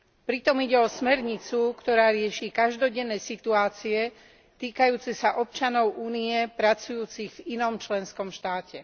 Pritom ide o smernicu, ktorá rieši každodenné situácie týkajúce sa občanov Únie pracujúcich v inom členskom štáte.